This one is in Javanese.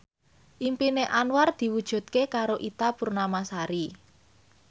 impine Anwar diwujudke karo Ita Purnamasari